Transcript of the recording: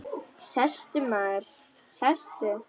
Sestu, maður, sestu.